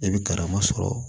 I bɛ karamɔgɔ sɔrɔ